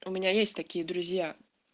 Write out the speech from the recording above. у меня есть такие друзья